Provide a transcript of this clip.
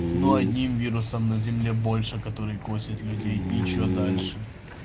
но одним вирусом на земле больше которые косят людей и что дальше